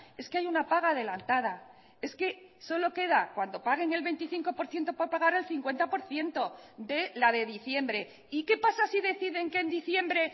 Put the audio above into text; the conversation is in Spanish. es que hay una paga adelantada es que solo queda cuando paguen el veinticinco por ciento para pagar el cincuenta por ciento de la de diciembre y qué pasa si deciden que en diciembre